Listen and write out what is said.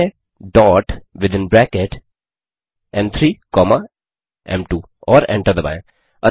type करें dot within bracket एम3 comma एम2 और एंटर दबाएँ